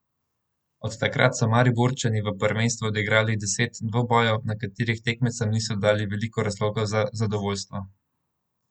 Od takrat so Mariborčani v prvenstvu odigrali deset dvobojev, na katerih tekmecem niso dali veliko razlogov za zadovoljstvo.